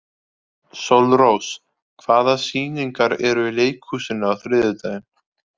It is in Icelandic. Sólrós, hvaða sýningar eru í leikhúsinu á þriðjudaginn?